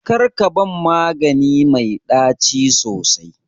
Karka ban magani mai ɗaci sosai.